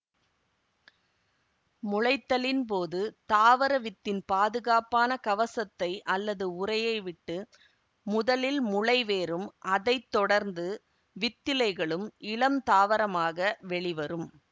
முளைத்தலின்போது தாவர வித்தின் பாதுகாப்பான கவசத்தை அல்லது உறையை விட்டு முதலில் முளை வேரும் அதை தொடர்ந்து வித்திலைகளும் இளம் தாவரமாக வெளி வரும்